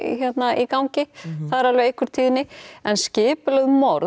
í gangi það er alveg einhver tíðni en skipulögð morð